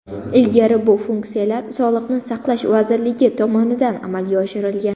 Ilgari bu funksiyalar Sog‘liqni saqlash vazirligi tomonidan amalga oshirilgan.